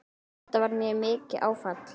Þetta varð mér mikið áfall.